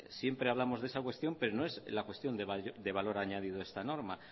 siempre hablamos de esa cuestión pero no es la cuestión de valor añadido de esta norma